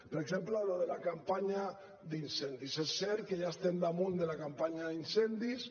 per exemple lo de la campanya d’incendis és cert que ja estem damunt de la campanya d’incendis